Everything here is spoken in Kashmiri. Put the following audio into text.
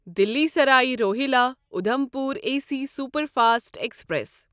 Delhi Sarai Rohilla Udhampur AC superfast express